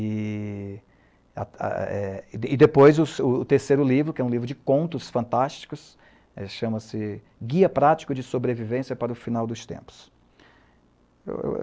E, depois, o terceiro livro, que é um livro de contos fantásticos, chama-se ''Guia Prático de Sobrevivência para o Final dos Tempos.''